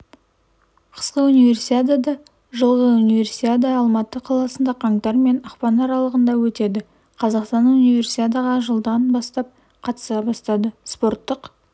қысқы универсиадада жылғы универсиада алматы қаласында қаңтар мен ақпанаралығындаөтеді қазақстан унивесиадаларға жылдан бастап қатыса бастады спорттық